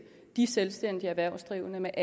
sende